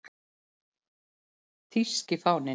Þýski fáninn